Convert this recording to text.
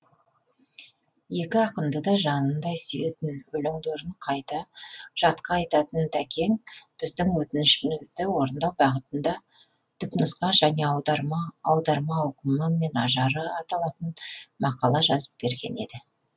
екі ақынды да жанындай сүйетін өлеңдерін жатқа айтатын тәкең біздің өтінішімізді орындау бағытында түпнұсқа және аударма аударма ауқымы мен ажары аталатын мақала жазып берген еді